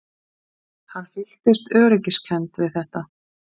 Hann fyllist öryggiskennd við þetta.